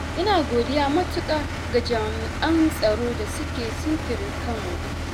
ina godiya matuƙa ga jami'an tsaro da suke sintiri kanmu.